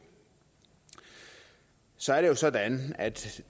så er det jo sådan at